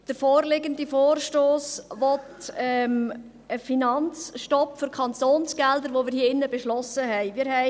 Der vorliegende Vorstoss will einen Finanzstopp für Kantonsgelder, welchen wir hier drin beschlossen haben.